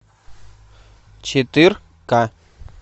четырка